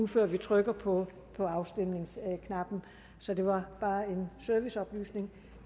før vi trykker på på afstemningsknappen så det var bare en serviceoplysning